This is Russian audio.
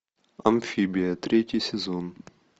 амфибия третий сезон